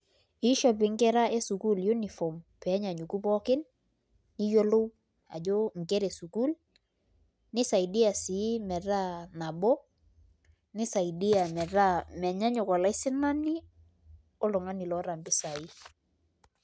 Iishop nkera esukuul uniform pee enyanyuku pookin niyiolou ajo nkera esukuul nisaidia sii metaa nabo nisaidia metaa menyanyuk olaisinani oltung'ani loota mpisai.